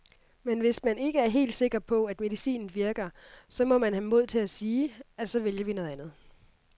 Men hvis man ikke er helt sikker på, at medicinen virker, så må man have mod til at sige, at så vælger vi noget andet.